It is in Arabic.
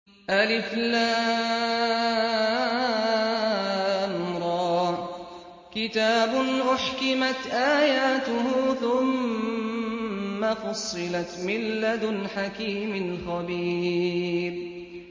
الر ۚ كِتَابٌ أُحْكِمَتْ آيَاتُهُ ثُمَّ فُصِّلَتْ مِن لَّدُنْ حَكِيمٍ خَبِيرٍ